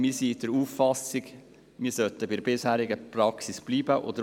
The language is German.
Wir sind der Auffassung, die bisherige Praxis solle beibehalten werden.